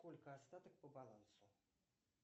сколько остаток по балансу